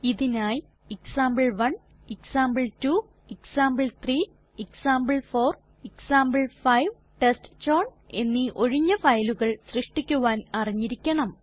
ഇതിനായി example example example example example ടെസ്റ്റ്ചൌൺ എന്നീ ഒഴിഞ്ഞ ഫയലുകൾ സൃഷ്ടിക്കുവാൻ അറിഞ്ഞിരിക്കണം